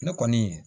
Ne kɔni